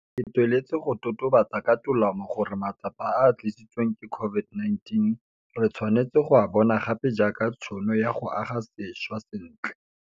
Ke tsweletse go totobatsa ka tolamo gore matsapa a a tlisitsweng ke COVID-19 re tshwanetse go a bona gape jaaka tšhono ya go aga sešwa sentle.